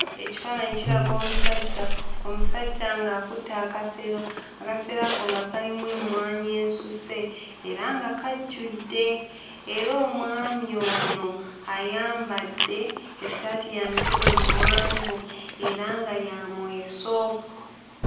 Ekifaananyi kiraga omusajja, omusajja ng'akutte akasero, akasero ako nga kalimu emmwanyi ensuse era nga kajjudde era omwami ono ayambadde essaati ya mikono miwanvu era nga yamweso.